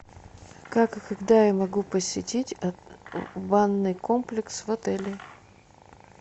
как и когда я могу посетить банный комплекс в отеле